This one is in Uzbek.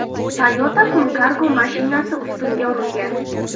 Toyota Funcargo mashinasi ustunga urilgan.